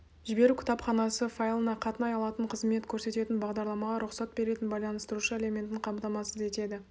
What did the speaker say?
жіберу кітапханасы файлына қатынай алатын қызмет көрсететін бағдарламаға рұқсат беретін байланыстырушы элементін қамтамасыз етеді